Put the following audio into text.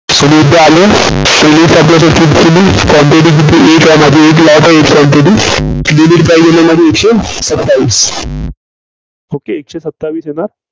एकशे सत्तावीस okay एकशे सत्तावीस येणार.